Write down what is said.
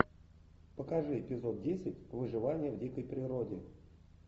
покажи эпизод десять выживание в дикой природе